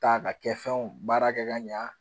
Ta ka kɛ fɛnw baara kɛ ka ɲɛ